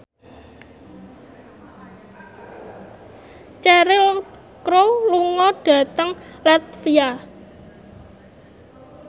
Cheryl Crow lunga dhateng latvia